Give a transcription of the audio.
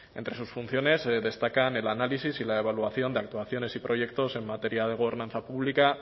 entre sus funciones destacan el análisis y la evaluación de actuaciones y proyectos en materia de gobernanza pública